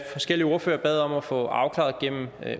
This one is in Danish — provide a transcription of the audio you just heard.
forskellige ordførere bad om at få afklaret gennem